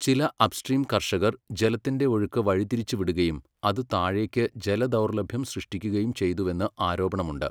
ചില അപ്പ്സ്ട്രീം കർഷകർ ജലത്തിന്റെ ഒഴുക്ക് വഴിതിരിച്ചുവിടുകയും അത് താഴേക്ക് ജലദൗർലഭ്യം സൃഷ്ടിക്കുകയും ചെയ്തുവെന്ന് ആരോപണമുണ്ട്.